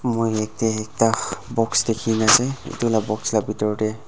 moi yate ekta box dikhi na ase etu lah box lah bithor teh--